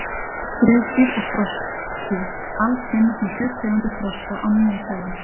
Skriðdýr og froskdýr: Alls finnast nú sjö tegundir froska á Nýja-Sjálandi.